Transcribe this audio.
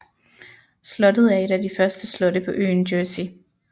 Slottet er et af de første slotte på øen Jersey